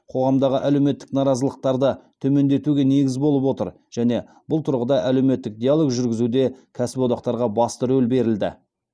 қоғамдағы әлеуметтік наразылықтарды төмендетуге негіз болып отыр және бұл тұрғыда әлеуметтік диалог жүргізуде кәсіподақтарға басты рөл берілді